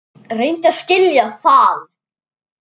Reyndu að skilja það!